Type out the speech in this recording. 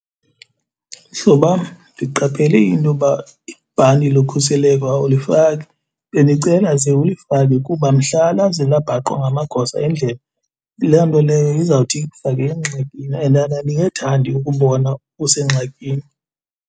Mhlobam, ndiqaphele intoba ibhanti lokhuseleko awulifaki, bendicela ze ulifake kuba mhla laze labhaqwa ngamagosa endlela loo nto leyo izawuthi ikufake engxakini and andingethandi ukubona usengxakini.